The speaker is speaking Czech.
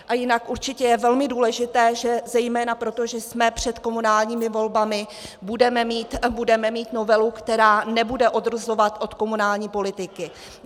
A jinak určitě je velmi důležité, že zejména proto, že jsme před komunálními volbami, budeme mít novelu, která nebude odrazovat od komunální politiky.